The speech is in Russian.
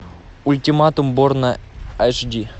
ультиматум борна аш ди